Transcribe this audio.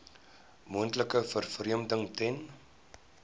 moontlike vervreemding ten